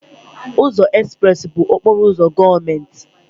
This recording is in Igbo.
Ụzọ Express bụ okporo ụzọ gọọmenti.